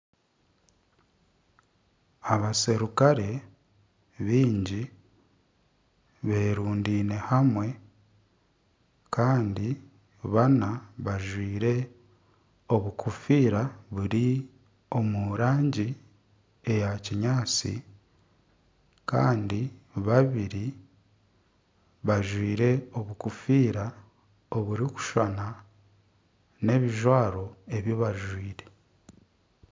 Abaserikare bingi berundiine hamwe kandi bana bajwire obukofiira buri omurangi ya kinyaatsi kandi babiri bajwire obukofiira oburikushushana n'ebijwaro ebibajwire.